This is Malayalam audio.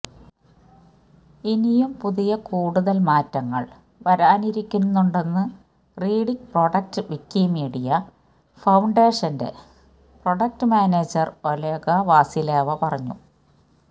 ഇനിയും പുതിയ കൂടുതല് മാറ്റങ്ങള് വരാനിരിക്കുന്നുണ്ടെന്ന് റീഡിങ് പ്രൊഡക്റ്റ് വിക്കിമീഡിയ ഫൌണ്ടേഷന്റെ പ്രൊഡക്റ്റ് മാനേജര് ഓല്ഗ വാസിലേവ പറഞ്ഞു